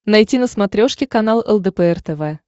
найти на смотрешке канал лдпр тв